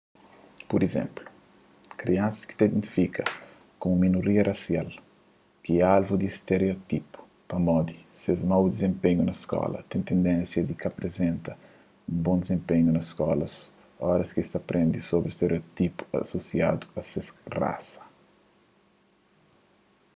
pur izénplu kriansas ki ta identifika ku un minoria rasial ki é alvu di stereótipu pamodi ses mau dizenpenhu na skola ten tendénsia di ka aprizenta un bon dizenpenhu na skola óras ki es prende sobri stereótipu asosiadu a ses rasa